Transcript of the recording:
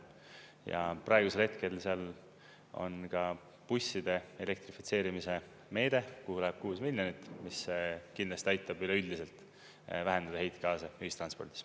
Ja praegusel hetkel seal on ka busside elektrifitseerimise meede, kuhu läheb kuus miljonit, mis kindlasti aitab üleüldiselt vähendada heitgaase ühistranspordis.